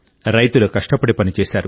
రైతులు కష్టపడి పనిచేశారు